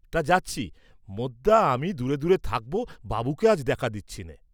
তা যাচ্ছি, মোদ্দা আমি দূরে দূরে থাকব, বাবুকে আজ দেখা দিচ্ছিনে।